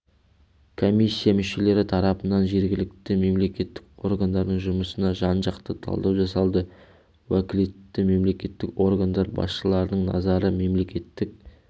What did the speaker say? комиссия мүшелері тарапынан жергілікті мемлекеттік органдардың жұмысына жан-жақты талдау жасалды уәкілетті мемлекеттік органдар басшыларының назары мемлекеттік